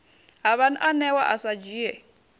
ha vhaanewa a sa dzhie